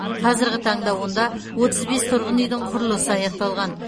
қазірғі таңда онда отыз бес тұрғын үйдің құрылысы аяқталған